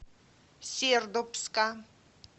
сердобска